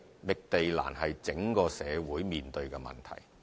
覓地難是整個社會面對的問題。